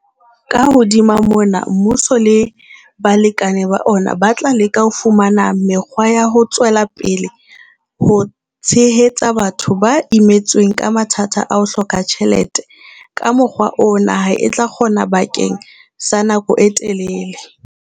Ka hodima mona, mmuso le balekane ba ona ba tla leka ho fumana mekgwa ya ho tswela pele ho tshehetsa batho ba imetsweng ke mathata a ho hloka tjhelete ka mokgwa oo naha e tla o kgona bakeng sa nako e telele.